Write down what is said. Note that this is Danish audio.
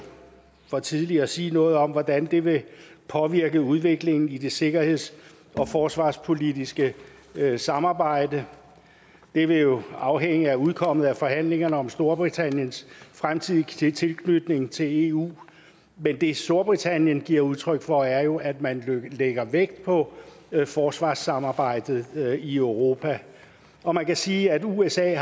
for tidligt at sige noget om hvordan det vil påvirke udviklingen i det sikkerheds og forsvarspolitiske samarbejde det vil jo afhænge af udkommet af forhandlingerne om storbritanniens fremtidige tilknytning til eu men det storbritannien giver udtryk for er jo at man lægger vægt på forsvarssamarbejdet i europa og man kan sige at usa